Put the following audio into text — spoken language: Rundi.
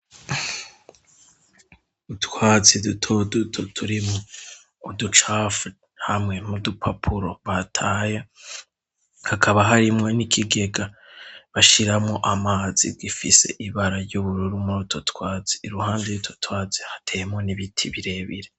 Utwatsi duto duto turimwo uducafu hamwe n'udupapuro bataye. Hakaba harimwo n'ikigega bashiramwo amazi gifise ibara ry'ubururu muri utwo twatsi. Iruhande y'utwo twatsi hateyemwo n'ibiti birebire.